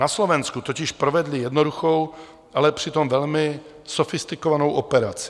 Na Slovensku totiž provedli jednoduchou, ale přitom velmi sofistikovanou operaci.